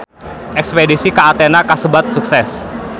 Espedisi ka Athena kasebat sukses